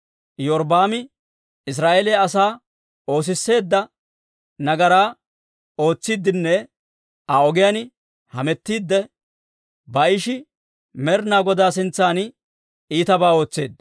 Iyorbbaami Israa'eeliyaa asaa oosisseedda nagaraa ootsiidenne Aa ogiyaan hametiidde, Baa'ishi Med'inaa Godaa sintsan iitabaa ootseedda.